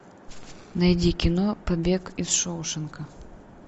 найди кино побег из шоушенка